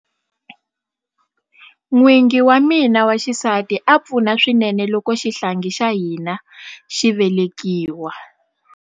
N'wingi wa mina wa xisati a pfuna swinene loko xihlangi xa hina xi velekiwa.